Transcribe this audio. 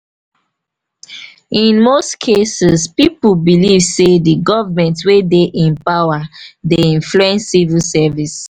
in most cases pipo believe sey di government wey dey in power dey influence civil service